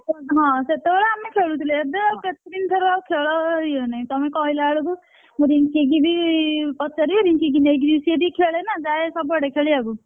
ହଁ ହଁ ସେତେବେଳେ ଆମେ ଖେଳୁଥିଲେ ଏବେ ଆଉ କେତେଦିନ ଠାରୁ ଆଉ ଖେଳରେ ଇଏ ନାହିଁ ତମେ କହିଲାବେଳକୁ ମୁଁ ରିଙ୍କି କି ବି ପଚାରିବି ରିଙ୍କି କି ନେଇକି ସେ ଯଦି ଖେଳେ ନା ଯାଏ ସବୁ ଆଡେ ଖେଳିବାକୁ,